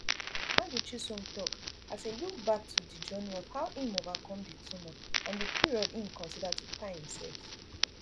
madu chisom tok as e look back to di journey of how im overcome di tumour and di period im consider to kpai im sef